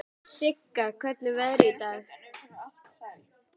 Sigga, hvernig er veðrið í dag?